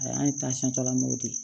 Ayi an ye lam'o de ye